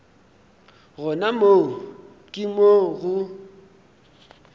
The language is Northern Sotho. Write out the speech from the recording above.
gona moo ke mo go